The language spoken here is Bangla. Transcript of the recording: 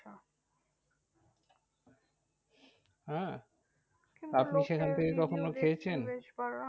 আহ আপনি সেখান থেকে কখনো খেয়েছেন?